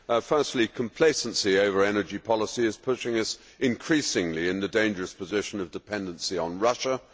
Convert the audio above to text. Firstly, complacency over energy policy is putting us increasingly in the dangerous position of dependency on Russia.